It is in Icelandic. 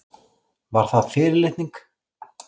Var það fyrirlitning?